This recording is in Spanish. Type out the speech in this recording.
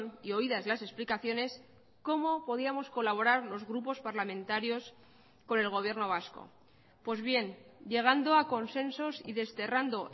y oídas las explicaciones cómo podíamos colaborar los grupos parlamentarios con el gobierno vasco pues bien llegando a consensos y desterrando